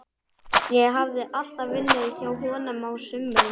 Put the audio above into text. Ég hafði alltaf unnið hjá honum á sumrin.